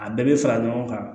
A bɛɛ bɛ fara ɲɔgɔn kan